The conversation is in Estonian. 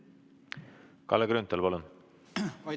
Kalle Grünthal, palun!